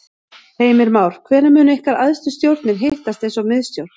Heimir Már: Hvenær munu ykkar æðstu stjórnir hittast eins og miðstjórn?